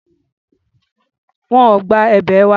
Wọn ò gba èbè wa.